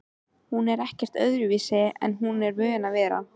Hún er ekkert öðruvísi en hún er vön að vera